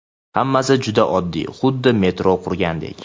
Hammasi juda oddiy, xuddi metro qurgandek.